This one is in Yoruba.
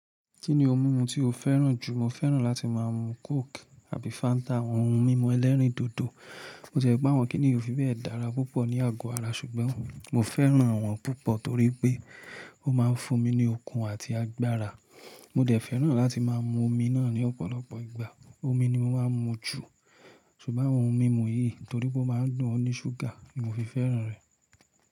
Kí ni ohun mímu tí o fẹ́ràn jù? Mo fẹ́ràn láti máa mu Coke àbí Fanta, àwọn ohun mímu ẹlẹ́rìndòdò. Bó tiẹ pé àwọn kínní yi ò fi bẹ́ẹ̀ dára púpọ̀ ní àgọ́ ara, ṣùgbọ́n mo fẹ́ràn àwọn púpọ̀ torí pé ó máa ń fún mi ní okun àti agbára. Mo dẹ̀ fẹ́ràn láti máa mu omi náà ní ọ̀pọ̀lọpọ̀ ìgbà. Omi ni mo máa ń mu jù, ṣùgbọ́n àwọn ohun mímu yìí torí pé ó máa ń dun o ní ṣúgà ni mo fi fẹ́ràn rẹ̀.